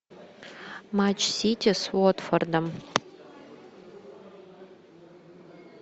матч сити с уотфордом